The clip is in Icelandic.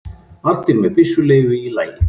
Allir með byssuleyfi í lagi